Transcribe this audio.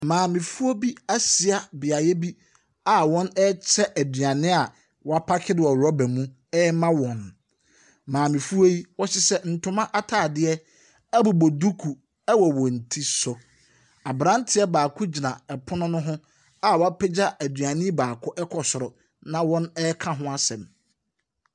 Maamefo bi ahyia beaeɛ bi a wɔrekyɛ aduane a wɔapaake no wɔ rɔba mu rema wɔn. Maamefoɔ yi, wɔhyehyɛ ntoma atadeɛ bobɔ duku wɔ wɔn ti so. Aberanteɛ baako gyina pono no ho a wapagya aduane yi baako kɔ soro, na wɔreka ho asɛm.